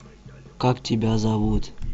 как тебя зовут